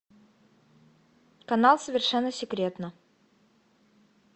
канал совершенно секретно